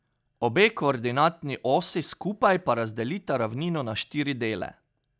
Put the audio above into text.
Obe koordinatni osi skupaj pa razdelita ravnino na štiri dele.